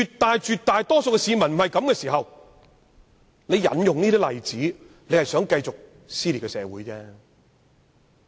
當絕大多數市民並沒有這種想法，引用這些例子就是想要繼續撕裂社會。